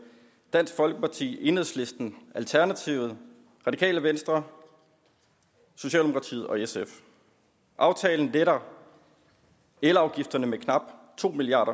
dansk folkeparti enhedslisten alternativet radikale venstre socialdemokratiet og sf aftalen letter elafgifterne med knap to milliard